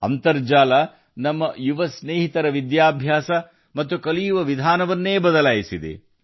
internet ನಮ್ಮ ಯುವ ಸ್ನೇಹಿತರು ಕಲಿಯುವ ಮತ್ತು ಕಲಿಯುವ ವಿಧಾನವನ್ನು ಬದಲಾಯಿಸಿದೆ